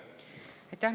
Aitäh!